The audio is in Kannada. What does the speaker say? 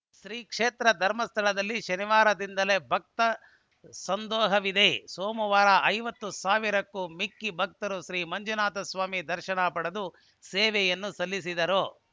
ಶ್ರೀ ಕ್ಷೇತ್ರ ಧರ್ಮಸ್ಥಳದಲ್ಲಿ ಶನಿವಾರದಿಂದಲೇ ಭಕ್ತ ಸಂದೋಹವಿದೆ ಸೋಮವಾರ ಐವತ್ತು ಸಾವಿರಕ್ಕೂ ಮಿಕ್ಕಿ ಭಕ್ತರು ಶ್ರೀ ಮಂಜುನಾಥಸ್ವಾಮಿ ದರ್ಶನ ಪಡೆದು ಸೇವೆಯನ್ನು ಸಲ್ಲಿಸಿದರು